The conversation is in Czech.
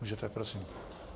Můžete, prosím.